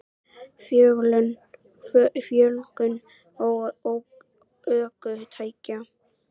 Fjölgun ökutækja?